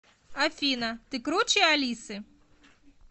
афина ты круче алисы